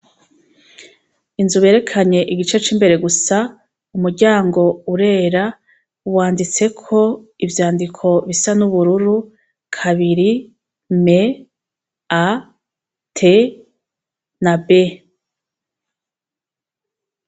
Inzu berekanye igice c'imbere gusa umuryango urera wanditse ko ivyandiko bisa n'ubururu kabiri m,a, t na b.